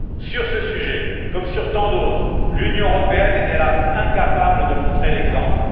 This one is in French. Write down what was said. Sur ce sujet comme sur tant d'autres, l'Union européenne est, hélas, incapable de montrer l'exemple.